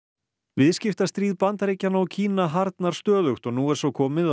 viðskiptastríð Bandaríkjanna og Kína harðnar stöðugt og nú er svo komið